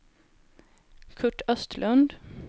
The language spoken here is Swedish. Kurt Östlund